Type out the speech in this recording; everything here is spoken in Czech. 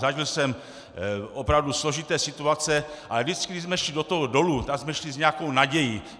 Zažil jsem opravdu složité situace, ale vždycky když jsme šli do toho dolu, tak jsme šli s nějakou nadějí.